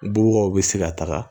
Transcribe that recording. Bɔbɔw bɛ se ka taga